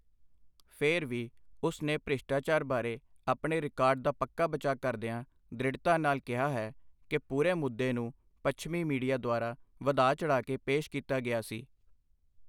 ਫਿਰ ਵੀ, ਉਸ ਨੇ ਭ੍ਰਿਸ਼ਟਾਚਾਰ ਬਾਰੇ ਆਪਣੇ ਰਿਕਾਰਡ ਦਾ ਪੱਕਾ ਬਚਾਅ ਕਰਦਿਆਂ ਦ੍ਰਿੜਤਾ ਨਾਲ ਕਿਹਾ ਹੈ ਕਿ ਪੂਰੇ ਮੁੱਦੇ ਨੂੰ ਪੱਛਮੀ ਮੀਡੀਆ ਦੁਆਰਾ ਵਧਾ ਚੜ੍ਹਾ ਕੇ ਪੇਸ਼ ਕੀਤਾ ਗਿਆ ਸੀ।